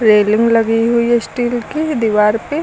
railing लगी हुई है स्टील की दीवार पे--